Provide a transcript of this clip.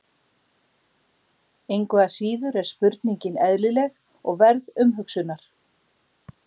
Engu að síður er spurningin eðlileg og verð umhugsunar.